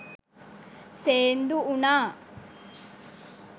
සේන්දු වුණා.